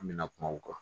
An bɛna kuma o kan